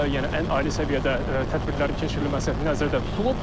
Yəni ən ali səviyyədə tədbirlərin keçirilməsi nəzərdə tutulub.